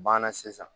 Banna sisan